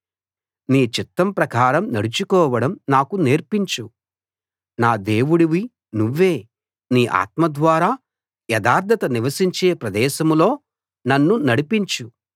నీ చిత్తం ప్రకారం నడుచుకోవడం నాకు నేర్పించు నా దేవుడివి నువ్వే నీ ఆత్మ ద్వారా యథార్థత నివసించే ప్రదేశంలో నన్ను నడిపించు